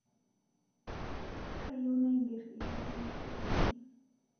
Kayieu naiger lkilikwuai